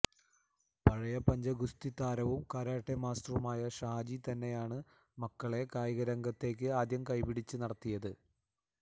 പഴയ പഞ്ചഗുസ്തി താരവും കരാട്ടെ മാസ്റ്ററുമായ ഷാജി തന്നെയാണ് മക്കളെ കായികരംഗത്തേക്ക് ആദ്യം കൈപിടിച്ച് നടത്തിയത്